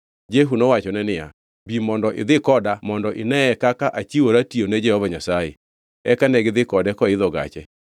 Jehu nowachone niya, “Bi mondo idhi koda mondo ineye kaka achiwora tiyone Jehova Nyasaye.” Eka negidhi kode koidho gache.